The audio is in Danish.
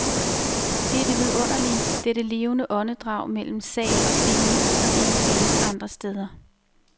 Det er det vidunderlige, dette levende åndedrag mellem sal og scene, som ikke findes andre steder.